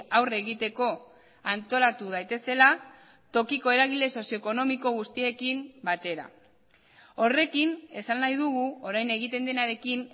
aurre egiteko antolatu daitezela tokiko eragile sozioekonomiko guztiekin batera horrekin esan nahi dugu orain egiten denarekin